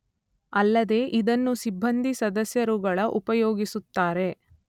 ಅಲ್ಲದೇ ಇದನ್ನು ಸಿಬ್ಬಂದಿ ಸದಸ್ಯರುಗಳ ಉಪಯೋಗಿಸುತ್ತಾರೆ